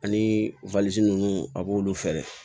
Ani ninnu a b'olu fɛ